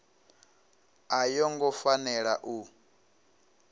a yo ngo fanela u